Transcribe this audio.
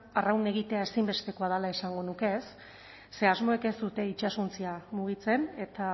arraun egitea ezinbestekoa dela esango nuke ze asmoek ez dute itsasontzia mugitzen eta